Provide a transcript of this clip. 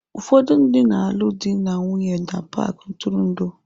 Ụfọdụ ndị na-alụ di na nwunye na paaki ntụrụndụ.